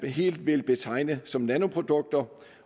helt vil betegne som nanoprodukter